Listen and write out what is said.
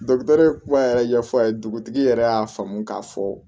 kuma yɛrɛ ɲɛfɔ a ye dugutigi yɛrɛ y'a faamu k'a fɔ